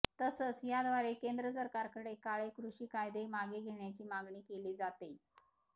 तसंच याद्वारे केंद्र सरकारकडे काळे कृषी कायदे मागे घेण्याची मागणी केली जातेय